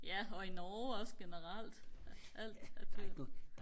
ja og i Norge også generelt alt er dyrt